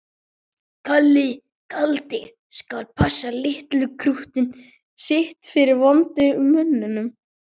Kalli kaldi skal passa litla krúttið sitt fyrir vondu mönnunum.